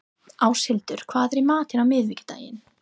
Áshildur, hvað er í matinn á miðvikudaginn?